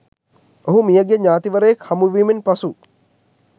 ඔහු මිය ගිය ඥාතිවරයෙක් හමුවීමෙන් පසු